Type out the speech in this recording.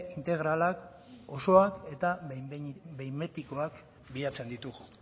integrala osoa eta behin betikoak bilatzen ditugu